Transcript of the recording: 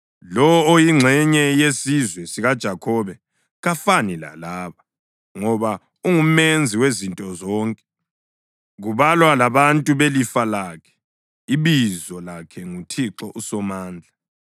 Lowo oyingxenye yesizwe sikaJakhobe kafani lalaba, ngoba unguMenzi wezinto zonke, kubalwa labantu belifa lakhe, ibizo lakhe nguThixo uSomandla.